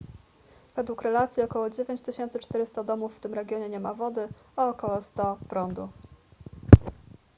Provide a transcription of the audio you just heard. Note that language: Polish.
według relacji około 9400 domów w tym regionie nie ma wody a około 100 prądu